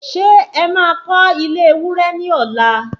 Ṣé ẹ má kọ́ ile ewúrẹ́ ní ọ̀la?